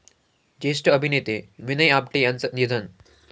ज्येष्ठ अभिनेते विनय आपटे यांचं निधन